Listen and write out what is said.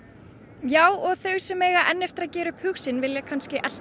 já og þau sem eiga eftir að gera upp hug sinn vilja kannski elta